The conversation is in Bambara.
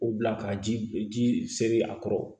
O bila ka ji ji seri a kɔrɔ